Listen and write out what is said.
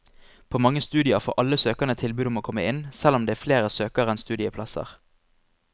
På mange studier får alle søkerne tilbud om å komme inn, selv om det er flere søkere enn studieplasser.